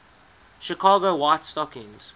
chicago white stockings